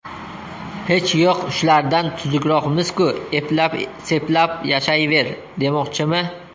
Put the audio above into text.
Hech yo‘q shulardan tuzukroqmiz-ku, eplab-seplab yashayver, demoqchimi?